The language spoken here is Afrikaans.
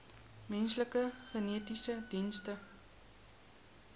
menslike genetiese dienste